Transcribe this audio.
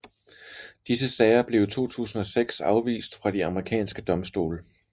Disse sager blev i 2006 afvist fra de amerikanske domstole